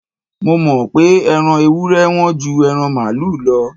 Mo mọ̀ pé Ẹran ewúré Wọ́n ju ẹran màlúù lọ